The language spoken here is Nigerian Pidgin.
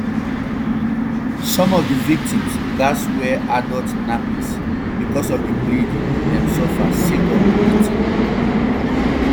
some of di victims gatz wear adult nappies bicos of di bleeding dem suffer sake of di beating